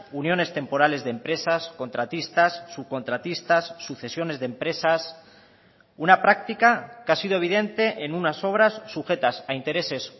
uniones temporales de empresas contratistas subcontratistas sucesiones de empresas una práctica que ha sido evidente en unas obras sujetas a intereses